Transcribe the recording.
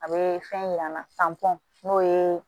A bɛ fɛn yir'an na n'o ye